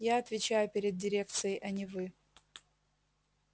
я отвечаю перед дирекцией а не вы